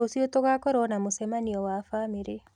Rũcio tũgakorwo na mũcemanio wa bamĩrĩ.